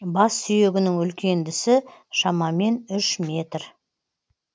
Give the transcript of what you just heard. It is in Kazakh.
бассүйегінің үлкендісі шамамен үш метр